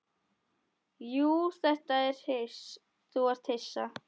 Já þú ert hissa.